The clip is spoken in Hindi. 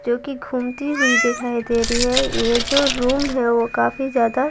जो कि घूमती हुई दिखाई दे रही है ये जो रूम है वो काफी ज्यादा --